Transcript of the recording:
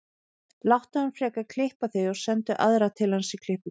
Láttu hann frekar klippa þig og sendu aðra til hans í klippingu.